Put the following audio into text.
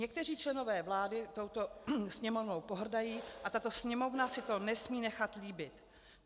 Někteří členové vlády touto Sněmovnou pohrdají a tato Sněmovna si to nesmí nechat líbit.